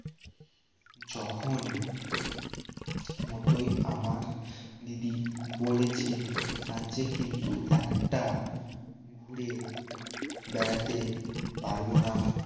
যখন মতোই আমার দিদি বলেছে চান যে কিন্তু একটা ঘুরে বেড়াতে পারব না